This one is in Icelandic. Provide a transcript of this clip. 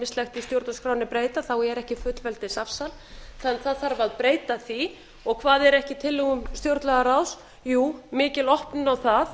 í stjórnarskránni breyta er ekkert fullveldisafsal og það þarf að breyta því og hvað er ekki í tillögum stjórnlagaráðs jú mikil opnun á það